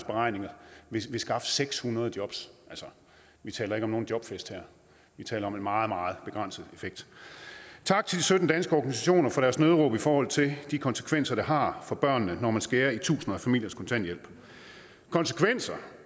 beregninger vil skaffe seks hundrede jobs altså vi taler ikke om nogen jobfest her vi taler om en meget meget begrænset effekt tak til de sytten danske organisationer for deres nødråb i forhold til de konsekvenser det har for børnene når man skærer i tusinder af familiers kontanthjælp konsekvenser